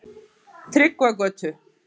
Tryggvagötu